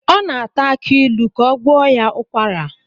O na-ata akiilu ka ọ gwọọ ya ukwara